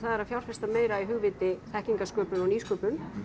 að fjárfesta meira í hugviti þekkingarsköpun og nýsköpun